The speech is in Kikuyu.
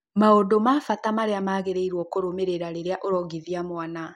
Maũndũ ma vata marĩa wagĩrĩirũo nĩ kurũmĩrĩra rĩrĩa ũrongithia mũana.